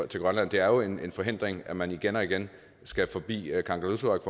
til grønland det er jo en forhindring at man igen og igen skal forbi kangerlussuaq